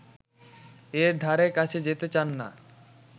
এর ধারে কাছে যেতে চান না